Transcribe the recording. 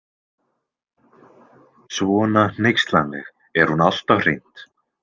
Svona hneykslanleg er hún alltaf hreint.